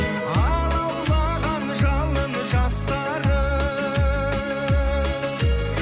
алаулаған жалын жастарым